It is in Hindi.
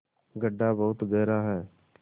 गढ्ढा बहुत गहरा है